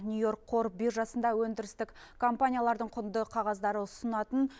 нью йорк қор биржасында өндірістік компаниялардың құнды қағаздары ұсынатын